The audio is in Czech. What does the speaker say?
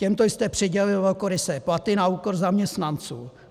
Těmto jste přidělil velkorysé platy na úkor zaměstnanců.